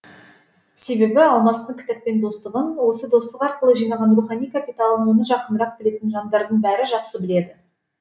себебі алмастың кітаппен достығын осы достық арқылы жинаған рухани капиталын оны жақынырақ білетін жандардың бәрі жақсы біледі